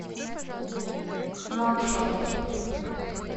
нуакшот